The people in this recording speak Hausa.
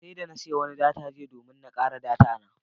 Sai da na siya wani data jiya domin na kare data na.